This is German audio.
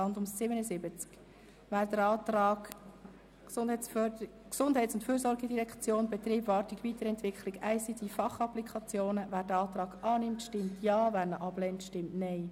Wer den Kreditantrag «Betrieb, Wartung und Weiterentwicklung der ICT-Fachapplikationen GEF» genehmigt, stimmt Ja, wer diesen ablehnt, stimmt Nein.